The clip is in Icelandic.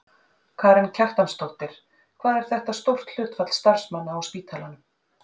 Karen Kjartansdóttir: Hvað er þetta stórt hlutfall starfsmanna á spítalanum?